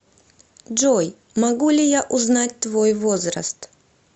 джой могу ли я узнать твой возраст